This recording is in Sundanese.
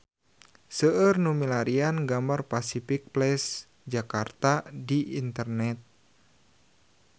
Seueur nu milarian gambar Pasific Place Jakarta di internet